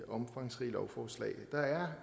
omfangsrige lovforslag der er